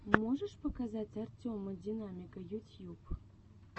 можешь показать артема динамика ютьюб